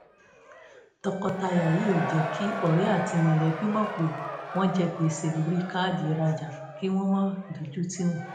tọkọtaya yìí ò jẹ́ kí ọ̀rẹ́ àti mọ̀lẹ́bí mọ̀ pé wọ́n jẹ gbèsè lórí káàdì ìrajà kí wọn má dójú tì wọ́n